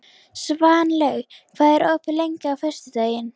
Svanlaug, hvað er opið lengi á föstudaginn?